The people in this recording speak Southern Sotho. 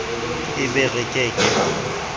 e be re ke ke